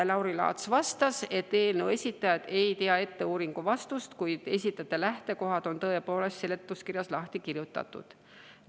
Lauri Laats vastas, et eelnõu esitajad ei tea ette uuringu vastust, kuid lähtekohad on seletuskirjas lahti kirjutatud.